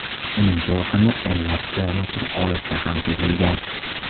Uning to‘lqini o‘nlab kilometr olisda ham sezilgan.